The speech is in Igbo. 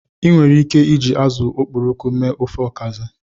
Ị nwere ike iji azụ okporoko mee ofe Okazi.